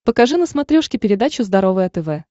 покажи на смотрешке передачу здоровое тв